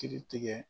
Kiri tigɛ